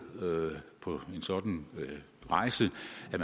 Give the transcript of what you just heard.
på en sådan rejse